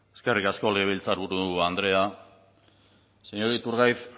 eskerrik asko legebiltzarburu andrea señor iturgaiz